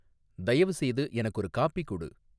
தயவுசெய்து எனக்கு ஒரு காபி குடு